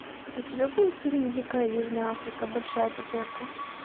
у тебя будет фильм дикая южная африка большая пятерка